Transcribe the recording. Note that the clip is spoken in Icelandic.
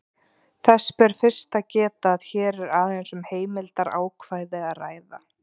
Þess ber fyrst að geta að hér er aðeins um heimildarákvæði að ræða.